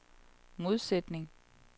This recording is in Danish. modsætning